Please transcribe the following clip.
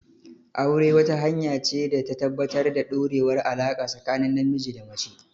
Aure, wata hanya ce ta tabbatar da ɗorewar alaƙa tsakanin namiji da mace.